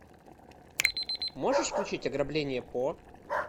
можешь включить ограбление по